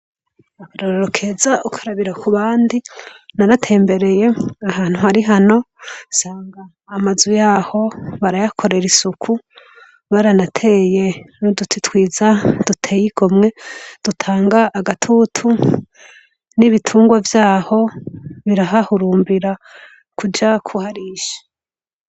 Abaroorokeza ukarabira ku bandi naratembereye ahantu hari hano sanga amazu yaho barayakorera isuku baranateye nuduti twiza duteye igomwe dutanga agatutu n'ibitungwa vyaho birahahurumbira kujakuharisha.